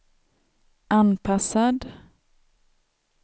anpassad